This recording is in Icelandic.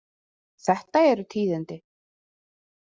Þetta eru tíðindi.